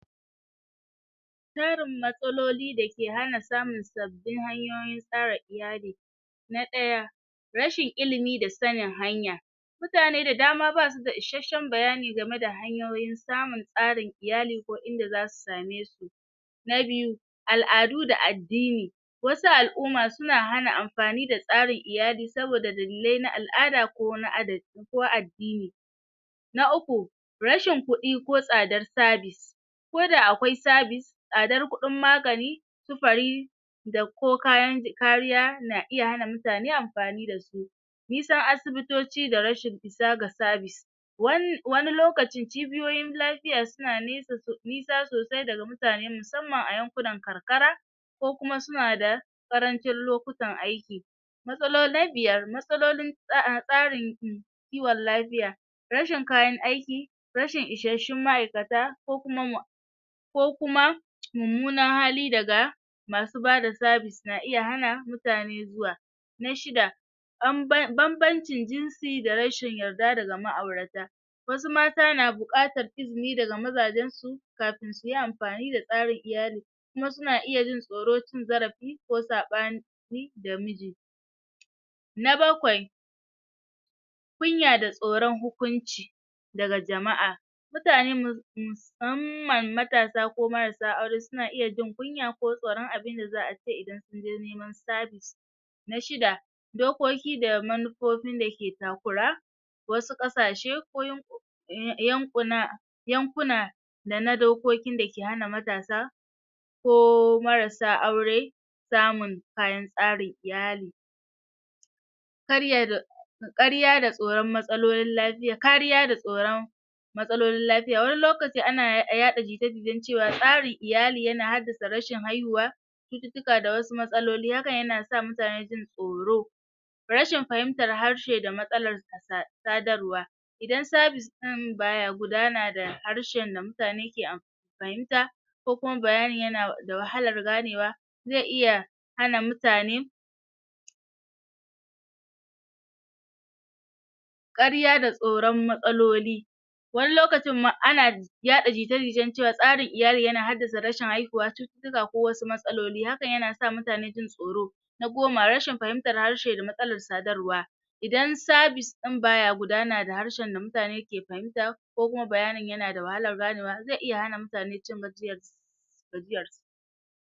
jerin matsaloli da ke hana samun sabbin hanyoyin tsara iyali na ɗaya rashin ilimi da sanin hanya mutane da dama basu da isashshen bayani game da hanyoyin samun tsarin iyali ko inda zasu same su na biyu al'adu da addini wasu al'umma suna hana amfani da tsarin iyali saboda dalilai na al'ada ko wani adadi ko addini na uku rashin kuɗi ko tsadar sabis ko da akwai sabis tsadar kuɗin magani sufari da ko kayan kariya na iya hana mutane amfani da su nisan asibitoci da rashin isa ga sabis wani lokaci cibiyoyin lafiya suna nisa sosai daga mutane musamman a yankunan karkara ko kuma suna da ƙarancin lokutan aiki na biyar matsalolin tsarin kiwon lafiya rashin kayan aiki rashin ishashshun ma'aikata ko kuma ko kuma mummunan hali daga masu bada sabis na iya hana mutane zuwa na shida um bambancin jinsi da rashin yarda daga ma'aurata wasu mata na buƙatar izini daga mazajen su kafin suyi amfani da tsarin iyali kuma suna iya jin tsoron cin zarafi ko saɓani da miji na bakwai kunya da tsoron hukunci daga jama'a mutani musamman matasa ko marasa aure suna iya jin kunya ko tsoron abinda za'a ce idan sunje neman sabis na shida dokoki da manufofin da ke takura wasu ƙasashe ko yan um yankuna yankuna da na dokokin da ke hana matasa ko marassa aure samun kayan tsarin iyali ƙarya da tsoron matsalolin lafiya, kariya da tsoron matsalolin lafiya, wani lokaci ana yaɗa jita-jitan cewa tsari iyali yana haddasa rashin haihuwa cututtuka da wasu matsaloli hakan yana sa mutane jin tsoro rashin fahimtar harshe da matsalar sa sadarwa idan sabis baya gudana da harshen da mutane ke fahimta ko kuma bayani yana da wahalar ganewa ze iya hana mutane ƙarya da tsoron matsaloli wani lokacin ma ana yaɗa jita-jitan cewa tsarin iyali yana haddasa rashin haihuwa cututtuka ko wasu matsaloli hakan yana sa mutane jin tsoro na goma rashin fahimtar harshe da matsalar sadarwa idan sabis ɗin baya gudana da harshen da mutane ke fahimta ko kuma bayanin yana da wahalar ganewa ze iya hana mutane cin